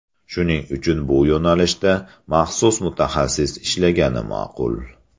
Shuning uchun bu yo‘nalishda maxsus mutaxassis ishlagani ma’qul.